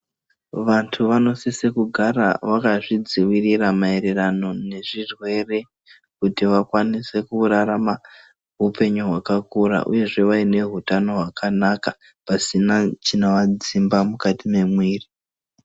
Vantu vanosise kugara vakazvidzivirira mayererano nezvirwere kuti vakwanise kurarama hupenyu hwakakora uyezve vaine utano hwakanaka pasina chinovadzimba mukati momuviri .